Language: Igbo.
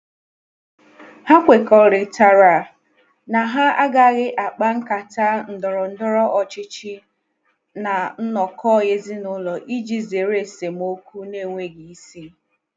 Ha kwekọrịtara na ha agaghị akpa nkata ndọrọ ndọrọ ọchịchị ná nnọkọ ezinụlọ iji zere esemokwu na-enweghi isi.